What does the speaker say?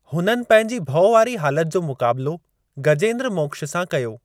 हुननि पंहिंजी भउवारी हालति जो मुकाबलो गजेंद्र मोक्ष सां कयो।